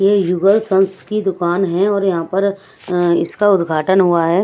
यह युगल संस की दुकान है और यहां पर अ इसका उद्घाटन हुआ है।